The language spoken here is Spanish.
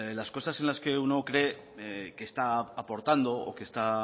las cosas en las que uno cree que está aportando o que está